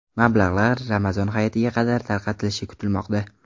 Mablag‘lar Ramazon Hayitiga qadar tarqatilishi kutilmoqda.